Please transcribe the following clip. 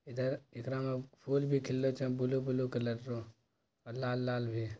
इधर एकरा मे फुल भी खिलले छै ब्लू ब्लू कलर लाल लाल भी--